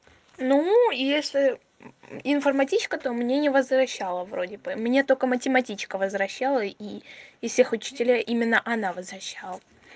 ну если информатичка то мне не возвращала вроде бы мне только математичка возвращала и и всех учителей именно она возвращала